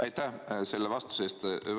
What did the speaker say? Aitäh selle vastuse eest!